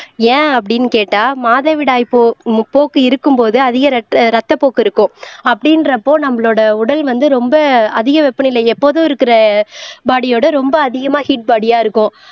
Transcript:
ஏன் அப்படின்னு கேட்டா மாதவிடாய் போ உம் போக்கு இருக்கும்போது அதிக ரத்த ரத்தப்போக்கு இருக்கும் அப்படின்றப்போ நம்மளோட உடல் வந்து ரொம்ப அதிக வெப்பநிலை எப்போதும் இருக்கிற பாடியோட ரொம்ப அதிகமா ஹீட் பாடியா இருக்கும்